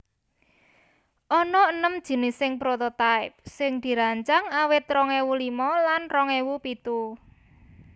Ana enem jinising prototype sing dirancang awit rong ewu limo lan rong ewu pitu